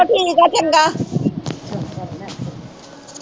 ਠੀਕ ਹੈ ਚੰਗਾ